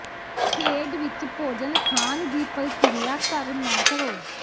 ਖੇਡ ਵਿੱਚ ਭੋਜਨ ਖਾਣ ਦੀ ਪ੍ਰਕਿਰਿਆ ਕਰ ਨਾ ਕਰੋ